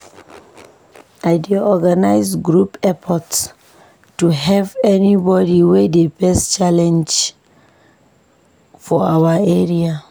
I dey organize group efforts to help anybody wey dey face challenges for our area.